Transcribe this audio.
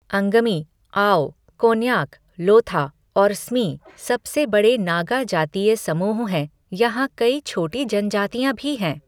अंगमी, आओ, कोन्याक, लोथा और स्मी सबसे बड़े नागा जातीय समूह हैं, यहाँ कई छोटी जनजातियाँ भी हैं।